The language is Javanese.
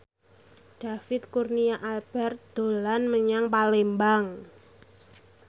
David Kurnia Albert dolan menyang Palembang